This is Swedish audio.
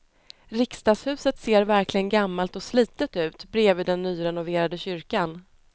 Riksdagshuset ser verkligen gammalt och slitet ut bredvid den nyrenoverade kyrkan.